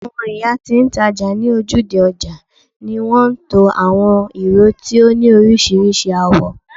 awon iya ti n taja ni ojude oja ni won to awon iro ti o ni orisirisi awo